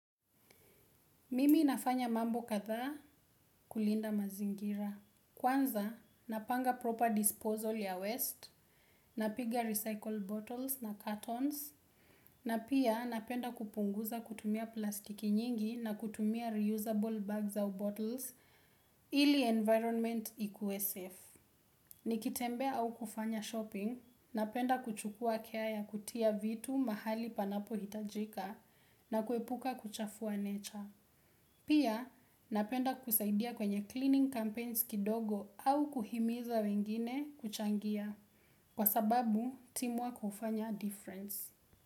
Mimi nafanya mambo katha kulinda mazingira. Kwanza, napanga proper disposal ya waste, napiga recycled bottles na cartons, na pia napenda kupunguza kutumia plastiki nyingi na kutumia reusable bags au bottles ili environment ikuwe safe. Nikitembea au kufanya shopping, napenda kuchukuwa care ya kutia vitu mahali panapohitajika na kuepuka kuchafua nature. Pia napenda kusaidia kwenye cleaning campaigns kidogo au kuhimiza wengine kuchangia kwa sababu teamwork hufanya difference.